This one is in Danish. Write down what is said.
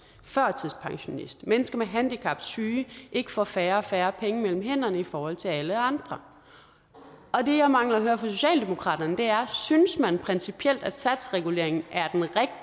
førtidspensionist mennesker med handicap syge ikke får færre og færre penge mellem hænderne i forhold til alle andre det jeg mangler at høre fra socialdemokratiet er synes man principielt at satsreguleringen er